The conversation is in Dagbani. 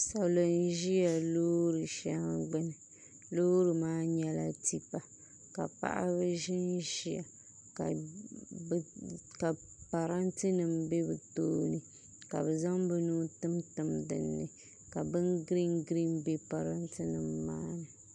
Salo n ʒi loori shɛli gbuni loori maa nyɛla tipa ka paɣaba ʒinʒiya ka parantɛ nim bɛ bi tooni ka bi zaŋ bi nuu timtim dinni ka bin giriin giriin bɛ parantɛ nim maa ni